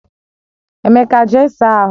Emeka, jee saa ahụ!